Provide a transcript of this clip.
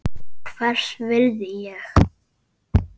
Hvers virði er ég?